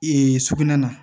sugunɛ na